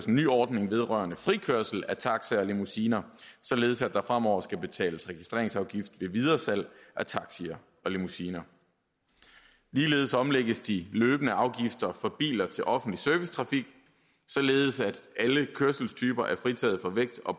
en ny ordning vedrørende frikørsel af taxier og limousiner således at der fremover skal betales registreringsafgift ved videresalg af taxier og limousiner ligeledes omlægges de løbende afgifter for biler til offentlig servicetrafik således at alle kørselstyper er fritaget for vægt og